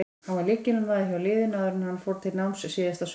Hann var lykilmaður hjá liðinu áður en hann fór til náms síðasta sumar.